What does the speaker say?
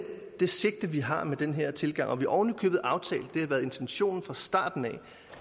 det sigte vi har med den her tilgang vi har ovenikøbet aftalt det har været intentionen fra starten